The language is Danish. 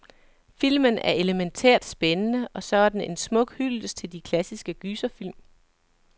Filmen er elemæntært spændende, og så er den en smuk hyldest til de klassiske gyserfilm.